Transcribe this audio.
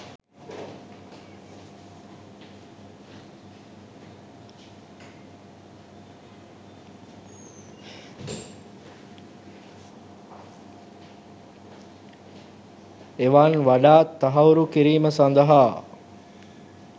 එවන් වඩාත් තහවුරු කිරීම සඳහා